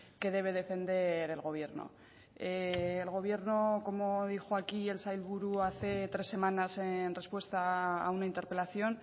que debe defender el gobierno el gobierno como dijo aquí el sailburu hace tres semanas en respuesta a una interpelación